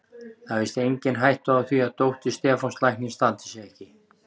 Það er víst engin hætta á því að dóttir Stefáns læknis standi sig ekki